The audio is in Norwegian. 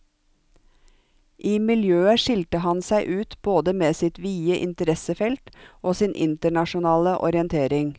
I miljøet skilte han seg ut både med sitt vide interessefelt og sin internasjonale orientering.